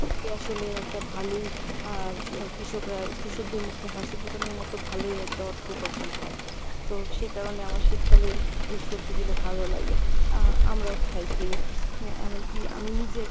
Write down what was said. আসলে একটা ভালোই আহ কৃষকরা কৃষকদের মুখে হাসি ফুটানোর মত ভালোই একটা অর্থ উপার্জন হয়। তো সেই কারনে আমার শীতকালের ঐ সবজিগুলো ভালো লাগে আহ আমরাও খাই কিনে। অ্যাঁ এমনকি আমি নিজে